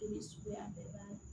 Ni suguya bɛɛ b'a la